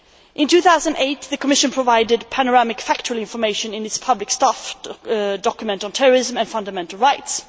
In 2008, the Commission provided panoramic factual information in its public staff document on terrorism and fundamental rights.